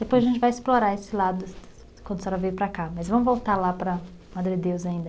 Depois a gente vai explorar esse lado quando a senhora veio para cá, mas vamos voltar lá para Madre Deus ainda.